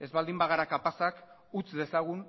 ez baldin bagara kapazak utz dezagun